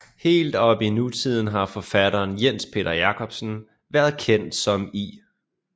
Helt op i nutiden har forfatteren Jens Peter Jacobsen været kendt som I